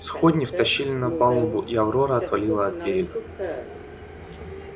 сходни втащили на палубу и аврора отвалила от берега